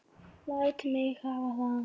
Læt mig hafa það!